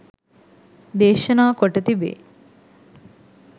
දේශනා කොට තිබේ.